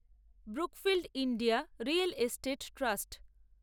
Brookfield India real estate trust